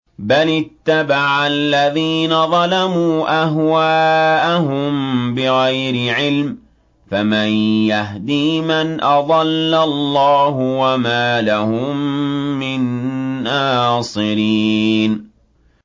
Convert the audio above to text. بَلِ اتَّبَعَ الَّذِينَ ظَلَمُوا أَهْوَاءَهُم بِغَيْرِ عِلْمٍ ۖ فَمَن يَهْدِي مَنْ أَضَلَّ اللَّهُ ۖ وَمَا لَهُم مِّن نَّاصِرِينَ